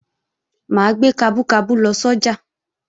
Mà á gbé kabú kabú lọ sọ́jà